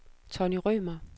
Tonny Rømer